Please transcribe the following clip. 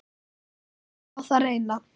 Látum á það reyna.